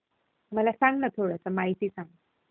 मला सांग ना थोडसं, माहिती सांग.